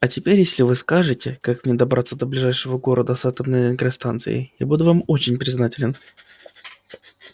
а теперь если вы скажете как мне добраться до ближайшего города с атомной энергостанцией я буду вам очень признателен